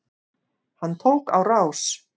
Hann tók á rás.